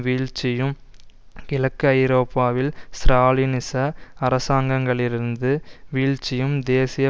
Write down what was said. வீழ்ச்சியும் கிழக்கு ஐரோப்பாவில் ஸ்ராலினிச அரசாங்கங்களிருது வீழ்ச்சியும் தேசிய